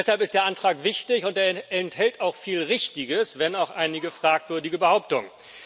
Deshalb ist der Antrag wichtig, und er enthält auch viel Richtiges, wenn auch einige fragwürdige Behauptungen.